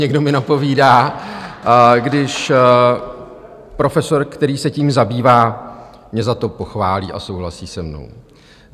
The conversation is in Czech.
- někdo mi napovídá - když profesor, který se tím zabývá, mě za to pochválí a souhlasí se mnou.